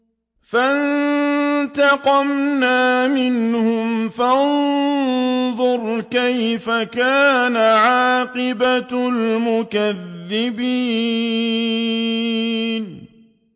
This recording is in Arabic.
فَانتَقَمْنَا مِنْهُمْ ۖ فَانظُرْ كَيْفَ كَانَ عَاقِبَةُ الْمُكَذِّبِينَ